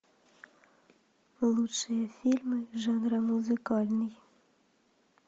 лучшие фильмы жанра музыкальный